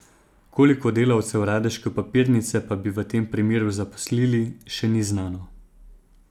Koliko delavcev radeške papirnice pa bi v tem primeru zaposlili, še ni znano.